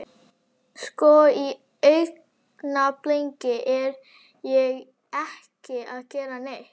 Sko. í augnablikinu er ég ekki að gera neitt.